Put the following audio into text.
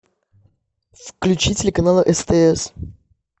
включи телеканал стс